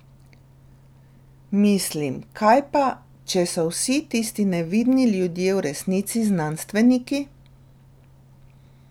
Mislim, kaj pa, če so vsi tisti nevidni ljudje v resnici znanstveniki?